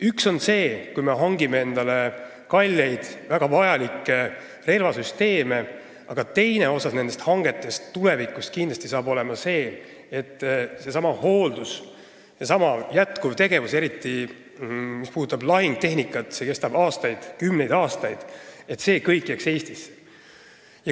Üks pool on see, kui me hangime endale kalleid ja väga vajalikke relvasüsteeme, aga teine pool hangetest on tulevikus kindlasti seotud sellesama hooldusega, sellesama jätkuva tegevusega – eriti mis puudutab lahingutehnikat –, mis kestab kümneid aastaid, et see kõik jääks Eestisse.